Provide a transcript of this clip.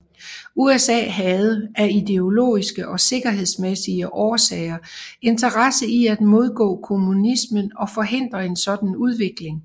USA havde af ideologiske og sikkerhedsmæssige årsager interesse i at modgå kommunismen og forhindre en sådan udvikling